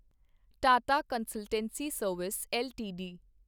Tata consultancy service LTD